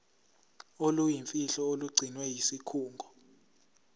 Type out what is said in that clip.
oluyimfihlo olugcinwe yisikhungo